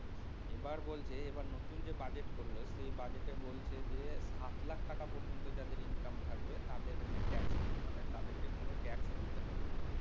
এবার বলতো এবার নতুন যে budget করেছে সে budget বলছে যে সাত লাখ টাকা পর্যন্ত যাদের income থাকবে তাদের হচ্ছে TAX free মানে তাদেরকে কোন TAX দিতে হবে না